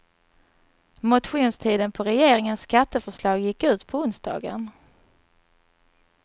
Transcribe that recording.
Motionstiden på regeringens skatteförslag gick ut på onsdagen.